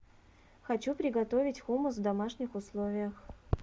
хочу приготовить хумус в домашних условиях